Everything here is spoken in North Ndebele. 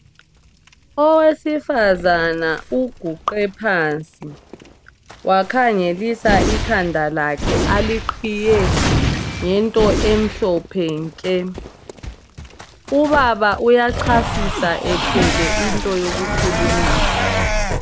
Owesifazana uguqe phansi wakhangelisa ikhanda lakhe aliqhiye ngento emhlophe nke. Ubaba uyachasisa ethwele into yokukhulumisa.